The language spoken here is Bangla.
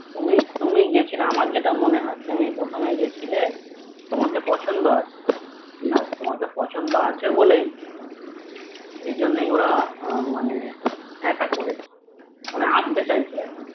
তুমি তুমি গেছিলে আমার যেটা মনে হয় তুমি প্রথমে গেছিলে তোমার পছন্দ আছে আর তোমার পছন্দ আছে বলেই সেজন্যই ওরা মানে আসতে চাইছে আরকি